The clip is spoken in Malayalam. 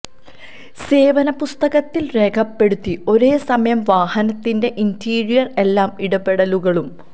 സേവന പുസ്തകത്തിൽ രേഖപ്പെടുത്തി ഒരേ സമയം വാഹനത്തിന്റെ ഇന്റീരിയർ എല്ലാ ഇടപെടലുകളും